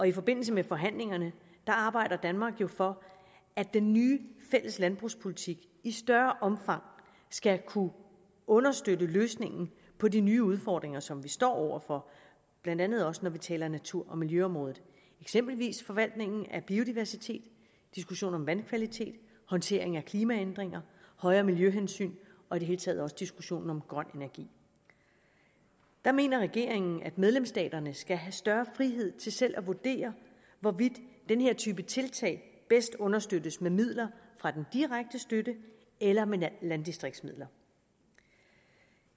i forbindelse med forhandlingerne arbejder danmark jo for at den nye fælles landbrugspolitik i større omfang skal kunne understøtte løsningen på de nye udfordringer som vi står over for blandt andet også når vi taler om natur og miljøområdet eksempelvis forvaltningen af biodiversitet diskussionen om vandkvalitet håndteringen af klimaændringer højere miljøhensyn og i det hele taget også diskussionen om grøn energi der mener regeringen at medlemsstaterne skal have større frihed til selv at vurdere hvorvidt den her type tiltag bedst understøttes med midler fra den direkte støtte eller med landdistriktsmidler